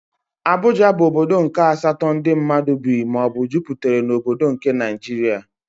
Abuja bụ ọbọdọ nke asatọ ndị mmadụ bị maọbu juputere n'obodo nke Naijiria.